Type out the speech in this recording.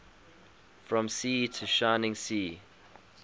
from sea to shining sea